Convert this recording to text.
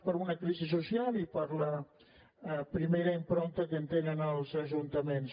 per una crisi social i per la primera impronta que en tenen els ajuntaments